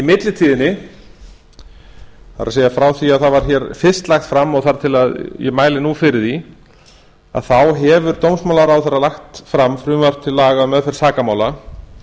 millitíðinni það er frá því að það var fyrst lagt fram og þar til ég mæli nú fyrir því hefur dómsmálaráðherra lagt fram frumvarp til laga um meðferð sakamála